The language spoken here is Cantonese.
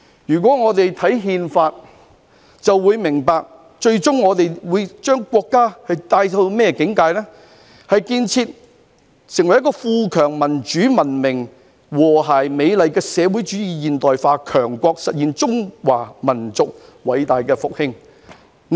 大家只要看看《憲法》，便會明白最終國家會進入的境界，就是"建設成為富強民主文明和諧美麗的社會主義現代化強國，實現中華民族偉大復興"。